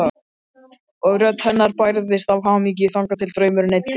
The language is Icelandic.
Og rödd hennar bærðist af hamingju þangað til draumurinn eyddist.